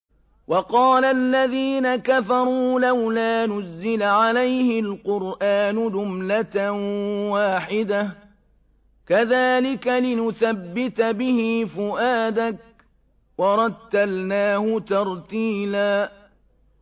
وَقَالَ الَّذِينَ كَفَرُوا لَوْلَا نُزِّلَ عَلَيْهِ الْقُرْآنُ جُمْلَةً وَاحِدَةً ۚ كَذَٰلِكَ لِنُثَبِّتَ بِهِ فُؤَادَكَ ۖ وَرَتَّلْنَاهُ تَرْتِيلًا